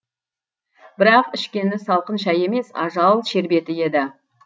бірақ ішкені салқын шай емес ажал шербеті еді